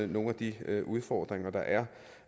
nogle af de udfordringer der er